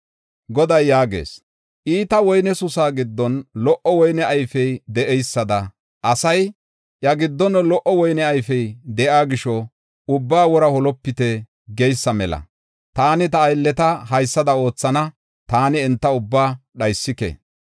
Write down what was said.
Goday yaagees: “Iita woyne susa giddon lo77o woyne ayfey de7eysada, asay, ‘Iya giddon lo77o woyne ayfey de7iya gisho ubbaa wora holopite’ geysa mela, Taani ta aylleta haysada oothana; taani enta ubbaa dhaysike.